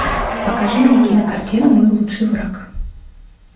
покажи мне кинокартину мой лучший враг